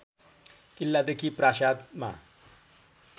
किल्लादेखि प्रासादमा